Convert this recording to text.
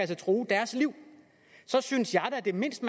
kan true deres liv så synes jeg da at det mindste